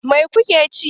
Mai kuke ci?